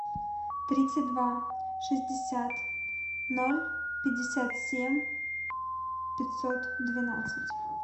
тридцать два шестьдесят ноль пятьдесят семь пятьсот двенадцать